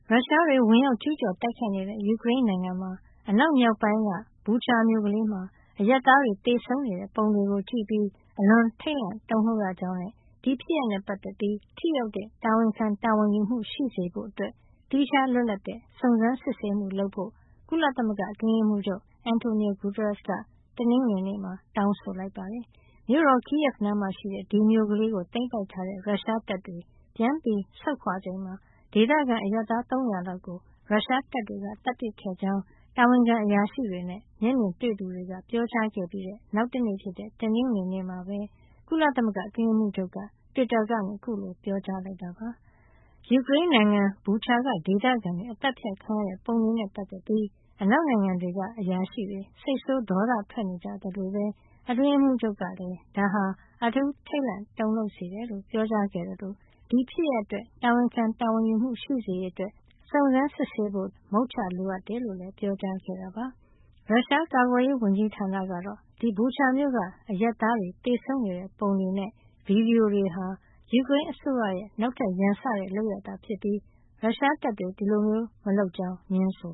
ရုရှားတွေ ဝင်ရောက်ကျူးကျော်တိုက်ခိုက်နေတဲ့ ယူကရိန်းနိုင်ငံ အနောက်မြောက်ပိုင်းက Bucha မြို့ကလေးမှာ အရပ်သားတွေ သေဆုံးနေတဲ့ ပုံတွေကို ကြည့်ပြီး အလွန်ထိတ်လန့် တုန်လှုပ်ရကြောင်းနဲ့ ဒီဖြစ်ရပ်နဲ့ပတ်သက်ပြီး ထိရောက်တဲ့ တာဝန်ခံ တာဝန်ယူမှု ရှိစေဖို့အတွက် သီးခြား လွတ်လပ်တဲ့ စုံစမ်းစစ်ဆေးမှုလုပ်ဖို့ ကုလသမဂ္ဂ အတွင်းရေးမှူးချုပ် Antonio Guterres က တောင်းဆိုလိုက်ပါတယ်။ မြို့တော် Kyiv နားမှာရှိတဲ့ ဒီမြို့ကလေးကို သိမ်းပိုက်ထားတဲ့ ရုရှားတပ်တွေ ပြန်ပြီး ဆုတ်ခွါချိန်မှာ ဒေသခံအရပ်သား ၃၀၀ လောက်ကို ရုရှားတပ်တွေက သတ်ပစ်ခဲ့ကြောင်း တာဝန်ခံအရာရှိတွေနဲ့ မျက်မြင်တွေ့သူတွေ ပြောကြားခဲ့ပြီး နောက်တနေ့ဖြစ်တဲ့ တနင်္ဂနွေနေ့မှာပဲ ကုလအတွင်းရေးမှူးချုပ်က တွစ်တာကနေ အခုလို ပြောကြားလိုက်တာပါ။ ယူကရိန်းနိုင်ငံ Bucha က ဒေသခံတွေ အသတ်ဖြတ်ခံရတဲ့ ပုံတွေနဲ့ ပတ်သက်ပြီး အနောက်နိုင်ငံတွေက အရာရှိတွေ စိတ်ဆိုး ဒေါသထွက်နေကြသလိုပဲ အတွင်းရေးမှူးချုပ်ကလည်း ဒါဟာ အထူးထိတ်လန့် တုန်လှုပ်စေတယ်လို့ ပြောကြားခဲ့သလို ဒီဖြစ်ရပ်အတွက် တာဝန်ခံ တာဝန်ယူမှု ရှိစေရေးအတွက် စုံစမ်းစစ်ဆေးဖို့ မုချလိုအပ်ကြောင်းလည်း ပြောကြားခဲ့တာပါ။ ရုရှားကာကွယ်ရေးဝန်ကြီးဌာနကတော့ အဲဒီ Bucha မြို့က အရပ်သားတွေ သေဆုံးနေတဲ့ ပုံတွနေဲ့ ဗွီဒီယိုတွေဟာ ယူကရိန်းအစိုးရရဲ့ နောက်ထပ် ရန်စတဲ့ လုပ်ရပ်သာ ဖြစ်ပြီး ရုရှားတပ်တွေ မလုပ်ကြောင်း ငြင်းဆို